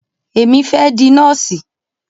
Èmi fẹ́ di nọ́ọ̀sì.